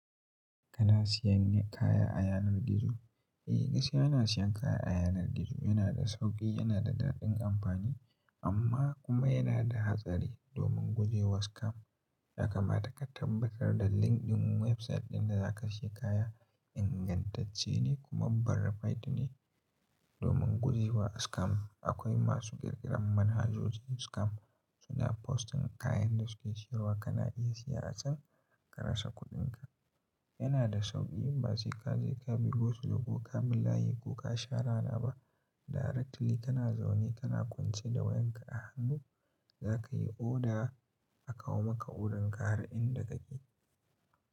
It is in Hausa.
Kana siyan kaya a yanar gizo? Eh gaskiya ana siyan kaya a yanar gizo. Yana da sauƙi, yana da daɗin amfani amma kuma yana da hatsari domin guje wa scam. Yakamata ka tabbatar da link ɗin website ɗin da zaka shi kaya ingantacce ne kuma barricade ne. Domin guje wa scam akwai masu ƙirƙiran manhajoji scam suna posting kayan da suke siyarwa kana iya siya a can ka rasa kuɗinka. Yana da sauƙi in ba sai ka je ka bi go su lo ka bi layi ko ka shara na ba directly kana zaune kana kwance da wayan ka a hannu zakayi order a kawo maka order ka har inda kake.